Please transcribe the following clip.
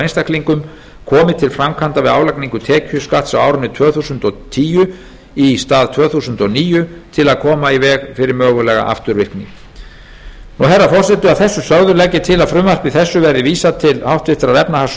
einstaklingum komi til framkvæmda við álagningu tekjuskatts á árinu tvö þúsund og tíu í stað tvö þúsund og níu til að koma í veg fyrir mögulega afturvirkni herra forseti að þessu sögðu legg ég til að frumvarpi þessu verði vísað til háttvirtrar efnahags